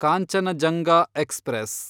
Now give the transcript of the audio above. Kanchenjunga express